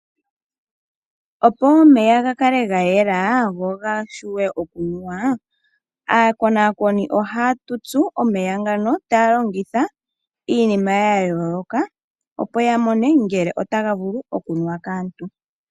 Opo omeya ga kale ga yela go gawape okunuwa, aakonakoni ohaya tutsu omeya ngoka, taya longitha iinima ya yooloka, opo ya mone ngele otaga vulu okunuwa kaantu.